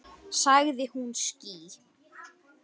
Sagði hún ský?